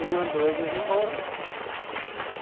E mandou eles embora.